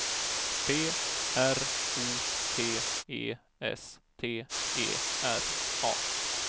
P R O T E S T E R A